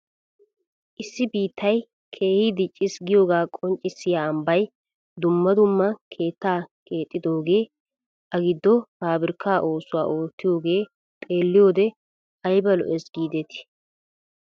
Issi biittay keehi dicciis giyoogaa qonccisiyaa ambbay dumma dumma keettaa keexxidogee a giddo pabirkkaa oosuwaa oottiyoogee xeelliyoode ayba lo"ees gidetii!